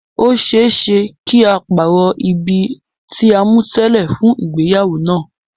Ó ṣeé ṣe kí á pàrọ̀ ibi tí a mú tẹ́lẹ̀ fún ìgbéyàwó náà.